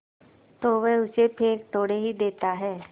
तो वह उसे फेंक थोड़े ही देता है